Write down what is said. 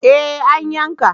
Eh an yanka